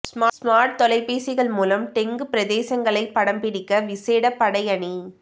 smart தொலைபேசிகள் மூலம் dengue பிரதேசங்களை படம்பிடிக்க விசேட படையணி